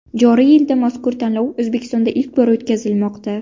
Joriy yilda mazkur tanlov O‘zbekistonda ilk bor o‘tkazilmoqda.